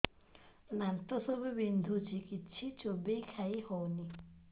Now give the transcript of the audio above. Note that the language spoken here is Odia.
ଦାନ୍ତ ସବୁ ବିନ୍ଧୁଛି କିଛି ଚୋବେଇ ଖାଇ ହଉନି